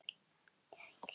Svaraðu bara.